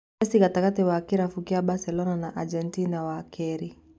Mesi gatagatĩ wa kĩrabu kia Baselona na Agentina, wa keerĩ: